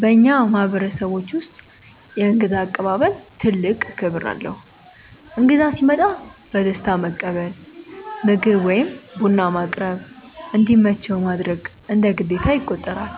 በእኛ ማህበረሰቦች ውስጥ የእንግዳ አቀባበል ትልቅ ክብር አለው። እንግዳ ሲመጣ በደስታ መቀበል፣ ምግብ ወይም ቡና ማቅረብ፣ እንዲመቸው ማድረግ እንደ ግዴታ ይቆጠራል።